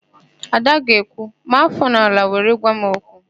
Ada ga-ekwu, "maa áfọ n'ala were gwa m okwu"!